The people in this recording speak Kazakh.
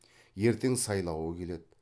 ертең сайлауы келеді